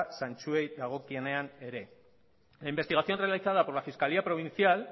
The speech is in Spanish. zentzuei dagokienean ere la investigación realizada por la fiscalía provincial